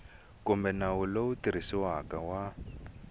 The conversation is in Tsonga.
kumbe nawu lowu tirhisiwaka wa